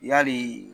Yali